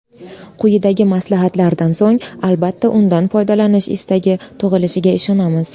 Quyidagi maslahatlardan so‘ng, albatta, undan foydalanish istagi tug‘ilishiga ishonamiz.